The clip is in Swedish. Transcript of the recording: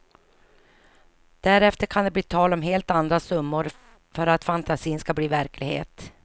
Därefter kan det bli tal om helt andra summor för att fantasin ska bli verklighet.